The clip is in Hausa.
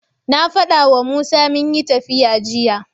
Na faɗawa Musa munyi tafiya jiya.